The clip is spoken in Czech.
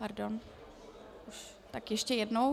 Pardon, tak ještě jednou.